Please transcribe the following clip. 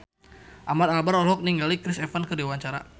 Ahmad Albar olohok ningali Chris Evans keur diwawancara